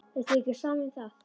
Er þér ekki sama um það?